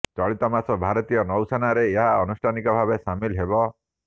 ଚଳିତ ମାସ ଭାରତୀୟ ନୌସେନାରେ ଏହା ଆନୁଷ୍ଠାନିକ ଭାବେ ସାମିଲ ହେବ